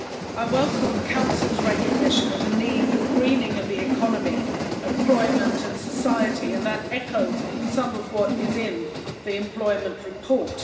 I welcome the Council's recognition of the need for the greening of the economy, employment and society, and that echoes some of what is in the Employment Report.